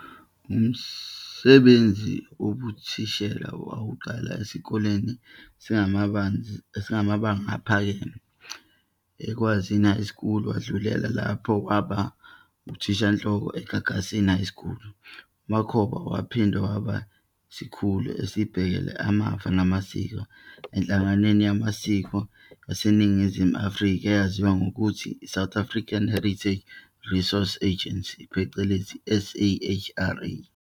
Umsbenzi wobuthishela wawuqala esikoleni samabanga aphekeme eKwazini High School, wadlulela lapha waba nguthishanhloko eGagasini High School. UMakhoba wahinde waba yiskhulu esibehkele amfa namasiko enhlanganwe yamasiko yaseNingimu Afrika eyaziwa ngokuthi, "South African Heritage Resource Agency", phecelezi, SAHRA.